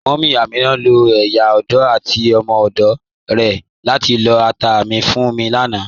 Múmí Amina ló̩ ìyá ọdò àti ọmọ ọdò rè̩ látí lọ́ àtà mi fún mi lànà.